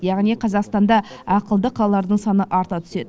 яғни қазақстанда ақылды қалалардың саны арта түседі